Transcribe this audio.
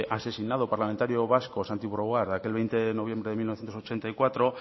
asesinado parlamentario vasco santi brouard aquel veinte de noviembre de mil novecientos ochenta y cuatro